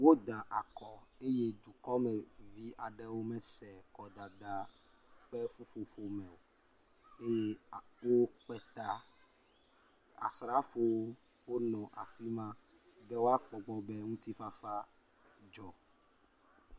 Woda akɔ eye dukɔmevi aɖewo mese kɔdada ƒe ƒuƒoƒome o. Eye akpɔ woƒe ta. Asrafowo wonɔ afi ma be woakpɔ gbɔ be ŋutifafa dzɔ.